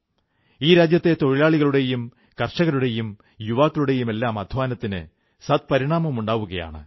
ഈ രാജ്യത്തെ തൊഴിലാളികളുടെയും കർഷകരുടെയും യുവാക്കളുടെയുമെല്ലാം അധ്വാനത്തിന് സദ്പരിണാമമുണ്ടാവുകയാണ്